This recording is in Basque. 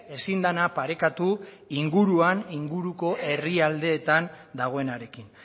ezin dena parekatu inguruan inguruko herrialdeetan dagoenarekin